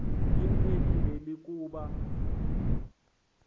imcelile l ukuba